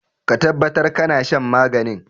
Ka tabbatar da kana shan maganin!